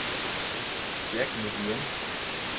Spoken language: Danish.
Jack Nguyen